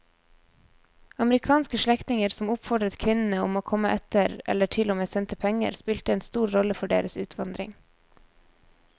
Amerikanske slektninger som oppfordret kvinnene om å komme etter eller til og med sendte penger spilte en stor rolle for deres utvandring.